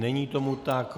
Není tomu tak.